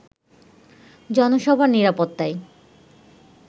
জনসভার নিরাপত্তায়